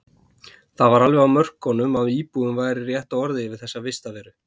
Það var alveg á mörkunum að íbúð væri rétta orðið yfir þessa vistarveru.